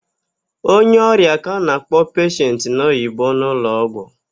Onye ọrịa ka a na-akpọ peshent n'Oyibo n'ụlọgwụ.